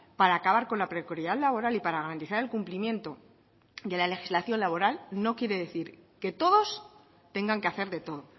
para acabar con la precariedad laboral y para garantizar el cumplimiento de la legislación laboral no quiere decir que todos tengan que hacer de todo